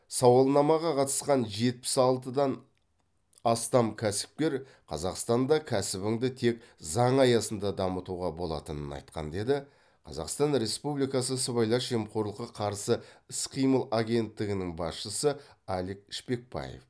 сауалнамаға қатысқан жетпіс алтыдан астам кәсіпкер қазақстанда кәсібіңді тек заң аясында дамытуға болатынын айтқан деді қазақстан республикасының сыбайлас жемқорлыққа қарсы іс қимыл агенттігінің басшысы алик шпекбаев